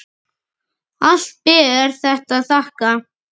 Allt ber þetta að þakka.